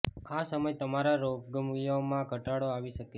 આ સમય તમારા રોગ્ય માં ઘટાડો આવી શકે છે